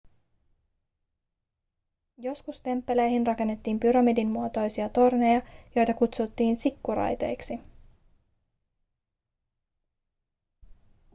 joskus temppeleihin rakennettiin pyramidin muotoisia torneja joita kutsuttiin zikkurateiksi